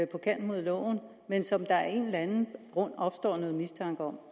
på kanten af loven men som der af en eller anden grund opstår noget mistanke om